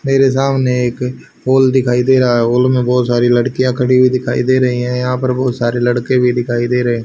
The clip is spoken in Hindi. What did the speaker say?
मेरे सामने एक हॉल दिखाई दे रहा है हॉल में बहुत सारी लड़कियां खड़ी हुई दिखाई दे रही हैं यहां पर बहुत सारे लड़के भी दिखाई दे रहे।